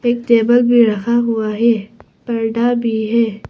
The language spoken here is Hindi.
टेबल भी रखा हुआ है पर्दा भी है।